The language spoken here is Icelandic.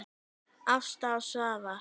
Ásta og Svafar.